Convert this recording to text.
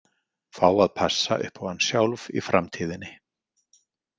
Fá að passa upp á hann sjálf í framtíðinni.